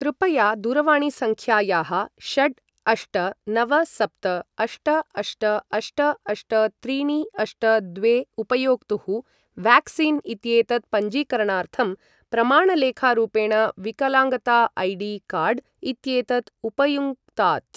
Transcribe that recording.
कृपया दूरवाणीसङ्ख्यायाः षट् अष्ट नव सप्त अष्ट अष्ट अष्ट अष्ट त्रीणि अष्ट द्वे उपयोक्तुः व्याक्सीन् इत्येतत् पञ्जीकरणार्थं प्रमाणलेखारूपेण विकलाङ्गता ऐडी कार्ड् इत्येतत् उपयुङ्क्तात्।